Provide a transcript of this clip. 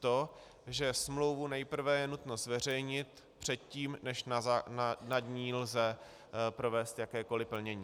To, že smlouvu nejprve je nutno zveřejnit předtím, než nad ní lze provést jakékoli plnění.